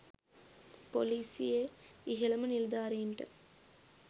පොලිසියේ ඉහළම නිලධාරීන්ට